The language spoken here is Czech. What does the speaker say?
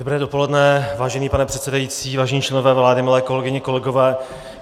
Dobré dopoledne, vážený pane předsedající, vážení členové vlády, milé kolegyně, kolegové.